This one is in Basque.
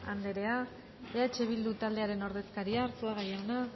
anderea eh bildu taldearen ordezkaria arzuaga jauna